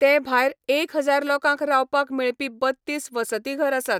ते भायर एक हजार लोकांक रावपाक मेळपी बत्तीस वसतीघर आसात.